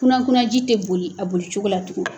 Kuna kunaji tɛ boli a bolibogo la tugun.